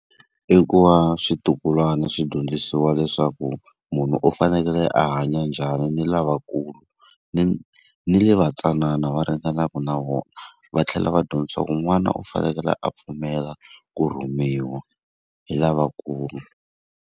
I ku va switukulwana swi dyondzisiwa leswaku munhu u fanekele a hanya njhani ni lavakulu, ni ni lava ntsanana va ringanaka na vona. Va tlhela va dyondzisiwa ku n'wanuna u fanekele a pfumela ku rhumiwa hi lavakulu.